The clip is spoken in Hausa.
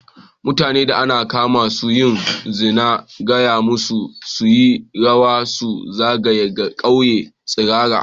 Mutanen da an kama suna yin zina, an gaya masu su yi rawa su zagaya ƙauyen tsirara.